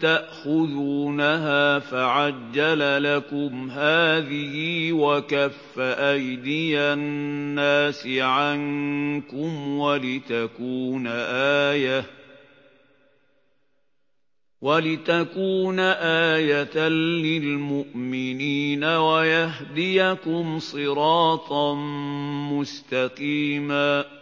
تَأْخُذُونَهَا فَعَجَّلَ لَكُمْ هَٰذِهِ وَكَفَّ أَيْدِيَ النَّاسِ عَنكُمْ وَلِتَكُونَ آيَةً لِّلْمُؤْمِنِينَ وَيَهْدِيَكُمْ صِرَاطًا مُّسْتَقِيمًا